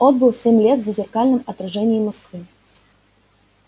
отбыл семь лет в зазеркальном отражении москвы